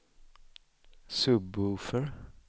sub-woofer